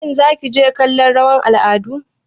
Shin Zaki je kallon rawar al'adu?